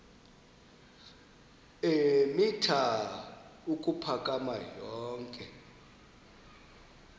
eemitha ukuphakama yonke